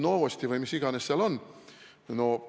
Novosti" või mis iganes.